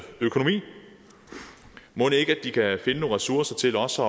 økonomi mon ikke de kan finde nogle ressourcer til også